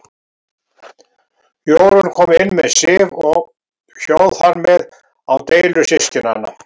Jórunn kom inn með Sif og hjó þar með á deilur systkinanna.